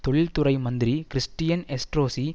தொழில்துறை மந்திரி Christian Estrosi